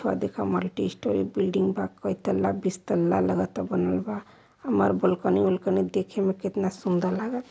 अ देखअ multi storey building बा कई ताल्ला बिस्तल्ला लगत बनल बा। हमार बालकनी आलकनी देखे में कितना सुंदर लाग --